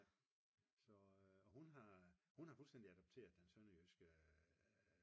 Nej hun har fuldstændig adopteret den sønderjyske